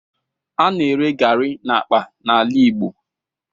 A na-ere garri n'akpa n'ala Igbo.